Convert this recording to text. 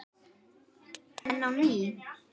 Enn á ný